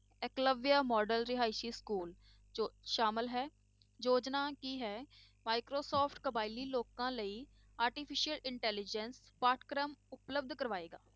Eklavya model ਰਿਹਾਇਸ school ਜੋ ਸ਼ਾਮਲ ਹੈ, ਯੋਜਨਾ ਕੀ ਹੈ microsoft ਕਬਾਇਲੀ ਲੋਕਾਂ ਲਈ artificial intelligence ਪਾਠ ਪਾਠਕ੍ਰਮ ਉਪਲਬਧ ਕਰਵਾਏਗਾ।